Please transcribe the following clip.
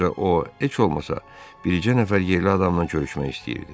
Ancaq o, heç olmasa, bir neçə nəfər yerli adamla görüşmək istəyirdi.